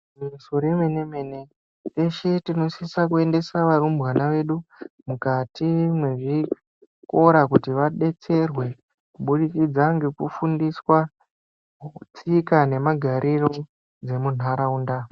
Igwinyiso remene-mene teshe tinosisa kuendesa varumbwana vedu mukati mwezvikora kuti vabetserwe. Kubudikidza ngekufundiswa tsika nemagariro dzemuntaraunda.